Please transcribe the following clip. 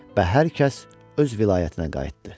Və hər kəs öz vilayətinə qayıtdı.